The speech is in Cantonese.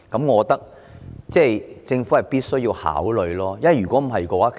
我認為政府必須考慮這一點。